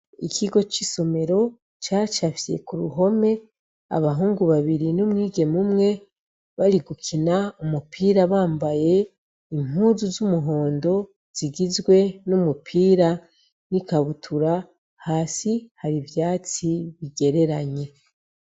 Ikigo c'isomero cacafye ku ruhome abahungu babiri n'umwigeme umwe bari gukina umupira bambaye impuzu z'umuhondo zigizwe n'umupira n'ikabutura hasi hari ivyatsi bigereranye.